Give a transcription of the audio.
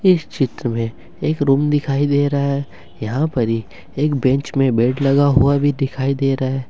इस चित्र में एक रूम दिखाई दे रहा है यहां पर ही एक बेंच में बेट लगा हुआ भी दिखाई दे रहा है।